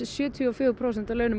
sjötíu og fjögur prósent af launum